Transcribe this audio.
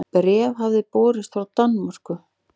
Bréf hafði borist frá Danmörku.